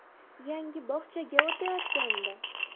Yangi bog‘chaga o‘tayotgandi.